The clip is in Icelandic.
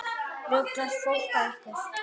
Ruglast fólk á ykkur?